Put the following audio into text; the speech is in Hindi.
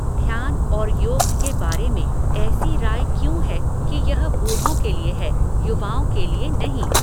ध्यान और योग के बारें में ऐसी राय क्यों है कि यह बूढ़ों के लिए है युवाओं के लिए नहीं?